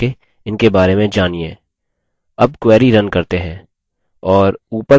अब query run करते हैं और ऊपर परिणाम देखते है